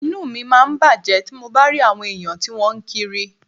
Inú mi máa ń bàjẹ́ tí mo bá rí àwọn èèyàn tí wọ́n ń kiri